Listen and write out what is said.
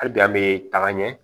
Hali bi an bɛ taga ɲɛ